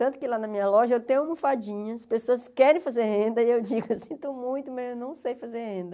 Tanto que lá na minha loja eu tenho almofadinha, as pessoas querem fazer renda e eu digo, eu sinto muito, mas eu não sei fazer renda.